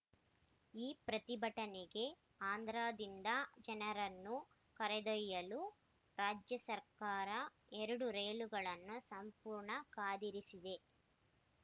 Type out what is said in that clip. ಈ ಪ್ರತಿಭಟನೆಗೆ ಆಂಧ್ರದಿಂದ ಜನರನ್ನು ಕರೆದೊಯ್ಯಲು ರಾಜ್ಯ ಸರ್ಕಾರ ಎರಡು ರೈಲುಗಳನ್ನು ಸಂಪೂರ್ಣ ಕಾದಿರಿಸಿದೆ